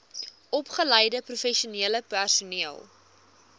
opgeleide professionele personeel